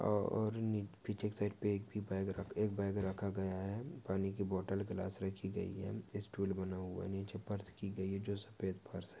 और नि पीछे के साइड पे एक भी गैब रखा एक बैग रखा गया है। पानी की बोटल ग्लास रखी गई है। स्टूल बना हुआ नीचे फर्श की गई है। जो सफ़ेद फर्श है।